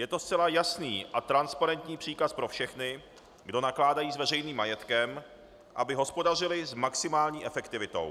Je to zcela jasný a transparentní příkaz pro všechny, kdo nakládají s veřejným majetkem, aby hospodařili s maximální efektivitou.